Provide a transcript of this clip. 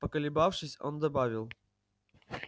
поколебавшись он добавил